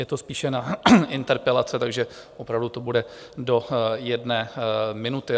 Je to spíše na interpelace, takže opravdu to bude do jedné minuty.